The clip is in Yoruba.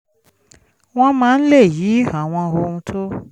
wọ́n máa ń lè yí àwọn ohun tó